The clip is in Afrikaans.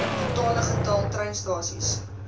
totale getal treinstasies